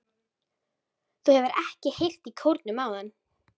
Þú hefur ekki heyrt í kórnum áðan?